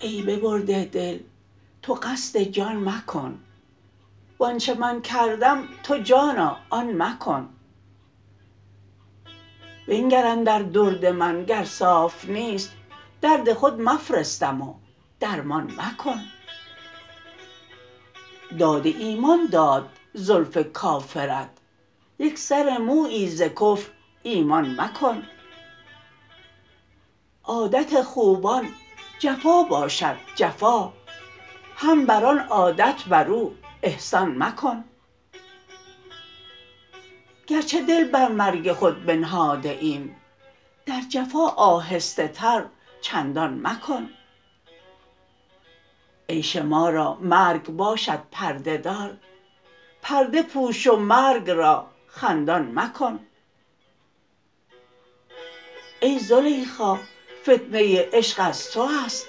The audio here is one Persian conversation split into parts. ای ببرده دل تو قصد جان مکن و آنچ من کردم تو جانا آن مکن بنگر اندر درد من گر صاف نیست درد خود مفرستم و درمان مکن داد ایمان داد زلف کافرت یک سر مویی ز کفر ایمان مکن عادت خوبان جفا باشد جفا هم بر آن عادت بر او احسان مکن گرچه دل بر مرگ خود بنهاده ایم در جفا آهسته تر چندان مکن عیش ما را مرگ باشد پرده دار پرده پوش و مرگ را خندان مکن ای زلیخا فتنه عشق از تو است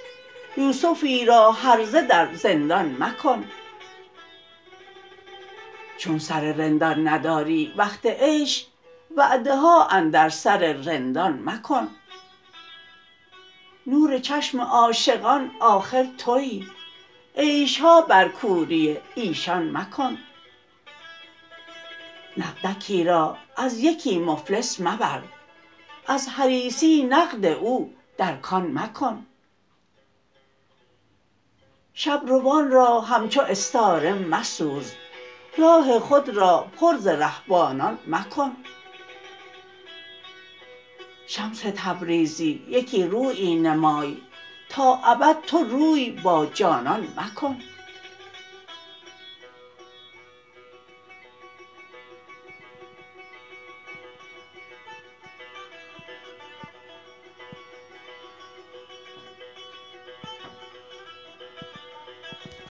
یوسفی را هرزه در زندان مکن چون سر رندان نداری وقت عیش وعده ها اندر سر رندان مکن نور چشم عاشقان آخر توی عیش ها بر کوری ایشان مکن نقدکی را از یکی مفلس مبر از حریصی نقد او در کان مکن شب روان را همچو استاره مسوز راه خود را پر ز رهبانان مکن شمس تبریزی یکی رویی نمای تا ابد تو روی با جانان مکن